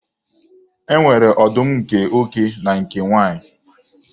E nwere ọdụm nke oke na nke nwunye.